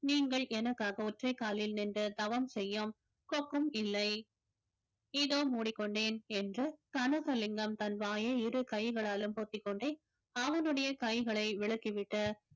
நீங்கள் எனக்காக ஒற்றைக்காலில் நின்று தவம் செய்யும் கொக்கும் இல்லை இதோ மூடிக்கொண்டேன் என்று கனகலிங்கம் தன் வாயை இரு கைகளாலும் பொத்திக்கொண்டே அவனுடைய கைகளை விலக்கி விட்டு